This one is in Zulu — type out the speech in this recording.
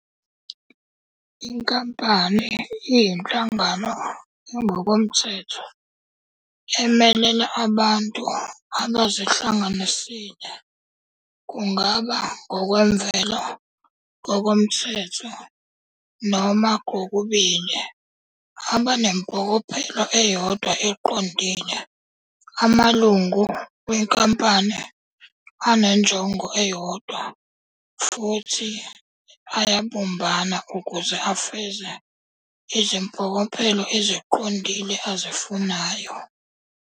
Inkampani iyinhlangano engokomthetho emelela abantu abazihlanganisile, kungaba ngokwemvelo, ngokomthetho, noma kokubil, abanempokophelo eyodwa eqondile. Amalungu wenkampani anenjongo eyodwa futhi ayabumbana ukuze afeze izimpkokophelo eziqondile azifunayo.